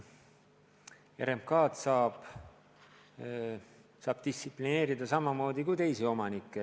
RMK-d saab distsiplineerida samamoodi kui teisi omanikke.